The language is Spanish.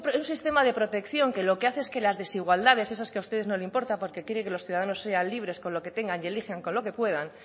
un sistema de protección que lo que hace es que las desigualdades esas que a ustedes no le importan porque quieren que los ciudadanos sean libres con lo que tengan y elijan con lo que puedan